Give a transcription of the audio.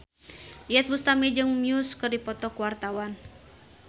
Iyeth Bustami jeung Muse keur dipoto ku wartawan